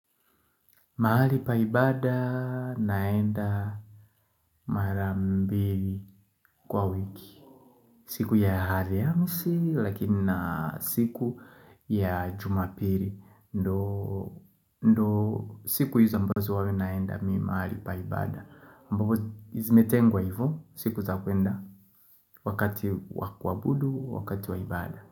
Maali pa ibada naenda mara mbili kwa wiki. Siku ya haliamisi, lakini na siku ya jumapili. Ndo siku hizo ambazo huwa mi naenda mi maali paibada. Ambao zimetengwa hivo, siku za kwenda wakati wa kuabudu, wakati wa ibada.